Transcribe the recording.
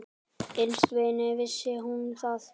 Innst inni vissi hún það.